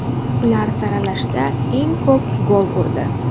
Ular saralashda eng ko‘p gol urdi.